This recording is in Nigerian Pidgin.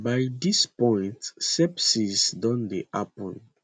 by dis point sepsis don dey happun